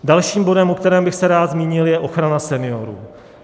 Dalším bodem, o kterém bych se rád zmínil, je ochrana seniorů.